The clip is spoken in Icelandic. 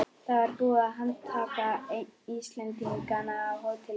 Það var búið að handtaka einn Íslendinganna á hótelinu.